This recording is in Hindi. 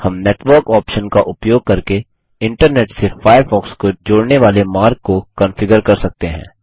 हम नेटवर्क ऑप्शन का उपयोग करके इंटरनेट से फायरफॉक्स को जोड़ने वाले मार्ग को कंफिगर कर सकते हैं